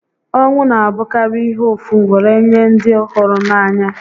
Ọnwụ n'abụkarị ihe ụfụ were nye ndị hụrụ n'anya